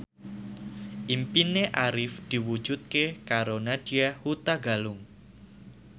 impine Arif diwujudke karo Nadya Hutagalung